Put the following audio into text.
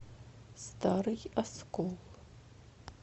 старый оскол